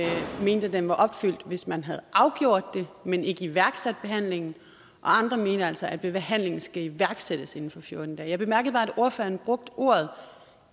den var opfyldt hvis man havde afgjort det men ikke iværksat behandlingen og andre altså mente at behandlingen skulle iværksættes inden for fjorten dage jeg bemærkede bare at ordføreren brugte ordene